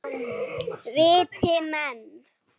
Viti menn.